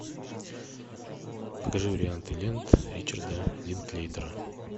покажи варианты лент ричарда линклейтера